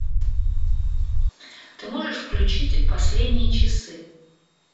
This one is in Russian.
ты можешь включить последние часы